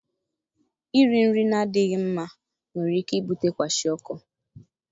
Iri nri na-adịghị mma nwere ike ibute kwashiorkor.